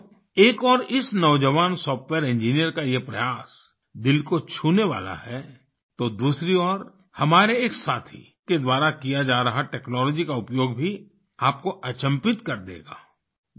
साथियो एक ओर इस नौजवान सॉफ्टवेयर इंजिनियर का यह प्रयास दिल को छूने वाला है तो दूसरी ओर हमारे एक साथी के द्वारा किया जा रहा टेक्नोलॉजी का उपयोग भी आपको अचंभित कर देगा